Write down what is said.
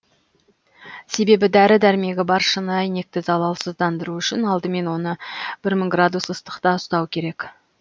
себебі дәрі дәрмегі бар шыны әйнекті залалсыздандыру үшін алдымен оны бір мың градус ыстықта ұстау керек